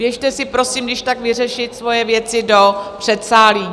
Běžte si prosím když tak vyřešit svoje věci do předsálí.